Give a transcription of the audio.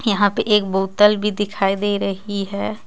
यहाँ पे एक बॉतल भी दिखाई दे रही हे.